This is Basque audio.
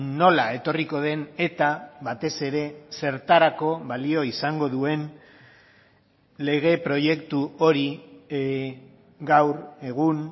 nola etorriko den eta batez ere zertarako balio izango duen lege proiektu hori gaur egun